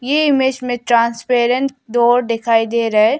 ये इमेज़ में transparent door दिखाई दे रहा है।